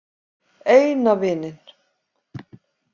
Eina vininn.